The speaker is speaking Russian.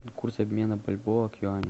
курс обмена бальбоа к юаню